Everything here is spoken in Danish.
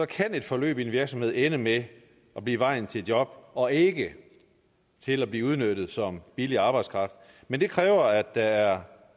kan et forløb i en virksomhed ende med at blive vejen til job og ikke til at blive udnyttet som billig arbejdskraft men det kræver at der er